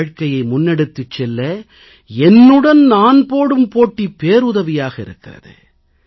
வாழ்க்கையை முன்னெடுத்துச் செல்ல என்னுடன் நான் போடும் போட்டி பேருதவியாக இருக்கிறது